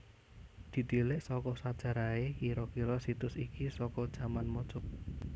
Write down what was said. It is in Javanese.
Ditilik saka sajarahé kira kira situs iki saka jaman majapahit